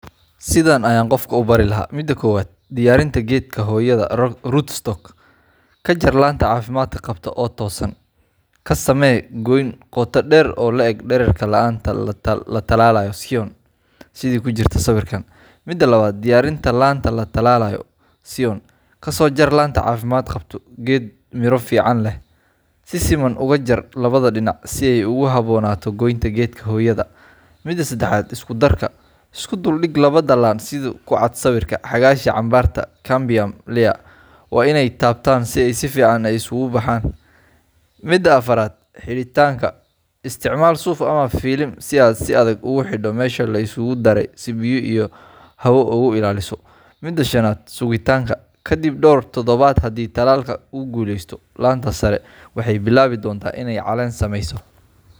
Sidan ayan qofka u bari mida kowaad, diyarinta gedka hoyada roots stalk kajaar lanta cafimadka qabta oo tosan, kasame qoyn qota dher oo latalalayo sidha kujirta sawirkan .Mida labaad talalinta laanta latalalayo ee siyon oo cafimad qabta, si fican oga jar si ay u habonato. Mida sedexad isku dhul diga hesha cambarta cambium layer waa iney tabtan si ay si fican isagu bahan Mida afaraad ,helitan si suf camal oo isi adag ogu tarto mesha laisagu daray si biyo iyo hawo ogailaliso .Mida shanad sugitanka kadib dhor isbuc hadi uu talalka guleysto lanta sare waxey bilawi donta iney calen sameso .